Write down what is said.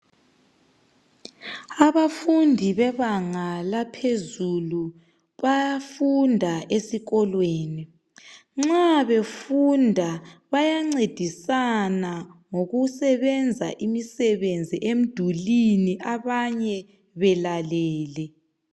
Abafundi bebanga laphezulu bayafunda esikolweni. Nxa befunda bayancedisana ngokusebenza imisebenzi emdulini abanye belalele.